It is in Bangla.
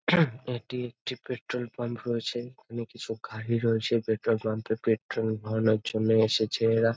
এটি একটি পেট্রল পাম্প রয়েছে। এখানে কিছু গাড়ি রয়েছে পেট্রল পাম্প -এ পেট্রল ভরার জন্য এসেছে এরা ।